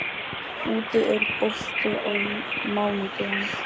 Úddi, er bolti á mánudaginn?